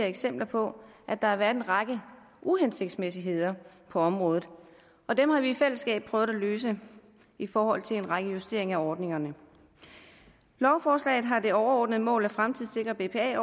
eksempler på at der har været en række uhensigtsmæssigheder på området og dem har vi i fællesskab prøvet at løse i forhold til en række justeringer af ordningerne lovforslaget har det overordnede mål at fremtidssikre bpa